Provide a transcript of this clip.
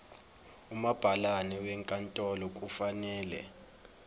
umabhalane wenkantolo kufanele